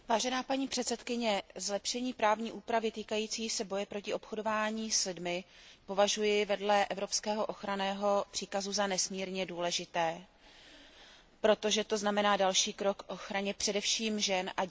Zlepšení právní úpravy týkající se boje proti obchodování s lidmi považuji vedle evropského ochranného příkazu za nesmírně důležité, protože to znamená další krok k ochraně především žen a dětí před násilím.